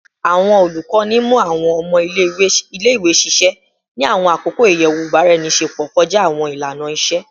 Awọn olukọni mu awọn ọmọ ile-iwe ṣiṣẹ ni awọn akoko iyẹwu ibaraenisepo kọja awọn ilana-iṣe